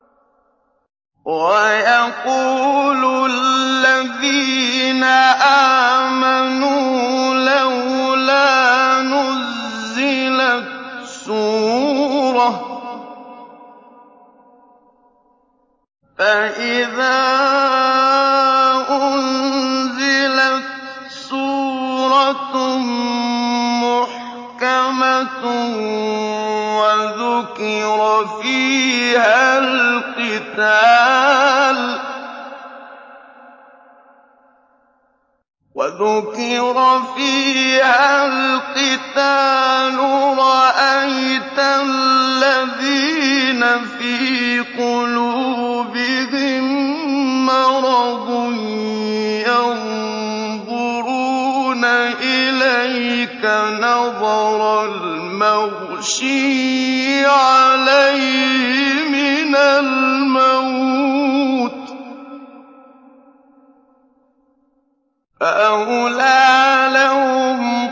وَيَقُولُ الَّذِينَ آمَنُوا لَوْلَا نُزِّلَتْ سُورَةٌ ۖ فَإِذَا أُنزِلَتْ سُورَةٌ مُّحْكَمَةٌ وَذُكِرَ فِيهَا الْقِتَالُ ۙ رَأَيْتَ الَّذِينَ فِي قُلُوبِهِم مَّرَضٌ يَنظُرُونَ إِلَيْكَ نَظَرَ الْمَغْشِيِّ عَلَيْهِ مِنَ الْمَوْتِ ۖ فَأَوْلَىٰ لَهُمْ